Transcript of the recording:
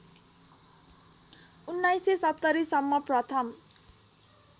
१९७० सम्म प्रथम